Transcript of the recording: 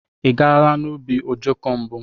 Ị gaala n'ubi ojoko mbu?